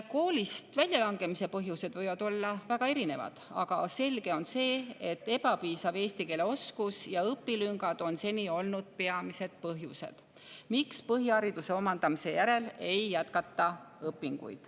Koolist väljalangemise põhjused võivad olla väga erinevad, aga selge on see, et ebapiisav eesti keele oskus ja õpilüngad on seni olnud peamised põhjused, miks põhihariduse omandamise järel õpinguid ei jätkata.